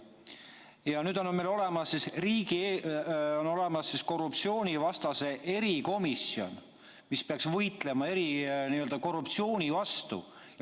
Ja nüüd on meil olemas korruptsioonivastane erikomisjon, mis peaks võitlema korruptsiooni vastu.